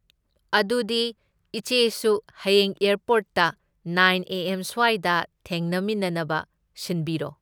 ꯑꯗꯨꯗꯤ ꯏꯆꯦꯁꯨ ꯍꯌꯦꯡ ꯑꯦꯔꯄꯣꯔꯠꯇ ꯅꯥꯏꯟ ꯑꯦ ꯑꯦꯝ ꯁ꯭ꯋꯥꯏꯗ ꯊꯦꯡꯅꯃꯤꯟꯅꯅꯕ ꯁꯤꯟꯕꯤꯔꯣ꯫